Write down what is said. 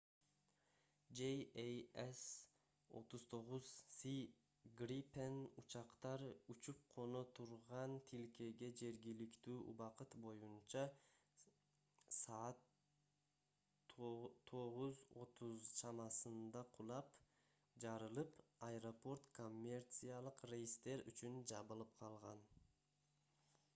jas 39c gripen учактар учуп-коно турган тилкеге жергиликтүү убакыт боюнча 2:30 utc саат 9:30 чамасында кулап жарылып аэропорт коммерциялык рейстер үчүн жабылып калган